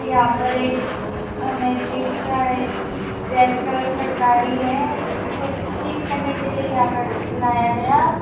यहां पर एक हमें दिख रहा है कि रेड कलर का गाड़ी है उसको ठीक करने के लिए यहां पर लाया गया--